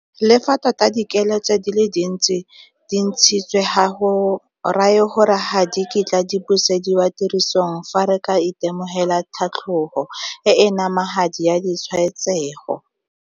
Le fa tota dikiletso di le dintsi di ntshitswe, ga go raye gore ga di kitla di busediwa tirisong fa re ka itemogela tlhatlogo e e namagadi ya ditshwaetsego.